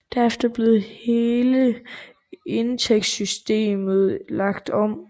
Derefter blev hele indtægtssystemet lagt om